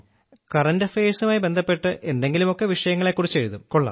current അഫയഴ്സുമായി ബന്ധപ്പെട്ട് എന്തെങ്കിലുമൊക്കെ വിഷയങ്ങളെക്കുറിച്ചെഴുതും